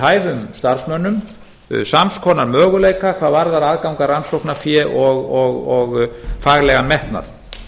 hæfum starfsmönnum sams konar möguleika hvað varðar aðgang að rannsóknarfé og faglegan metnað